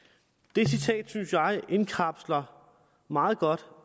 det citat synes jeg indkapsler meget godt